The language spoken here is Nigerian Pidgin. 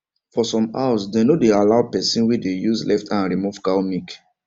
for some house dem no dey allow person wey dey use left hand remove cow milk